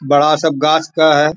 बड़ा सब गाछ का है।